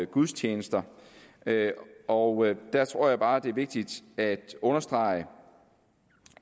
gudstjenester og der tror jeg bare det er vigtigt at understrege